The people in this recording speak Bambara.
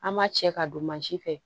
An ma cɛ ka don mansin fɛ